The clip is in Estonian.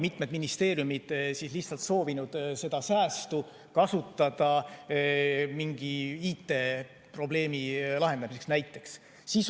Mitmed ministeeriumid on lihtsalt soovinud seda säästu kasutada mingi IT-probleemi lahendamiseks näiteks.